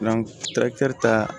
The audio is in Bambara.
ta